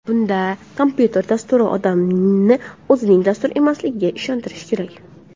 Bunda kompyuter dasturi odamni o‘zining dastur emasligiga ishontirishi kerak.